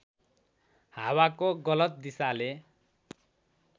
हावाको गलत दिशाले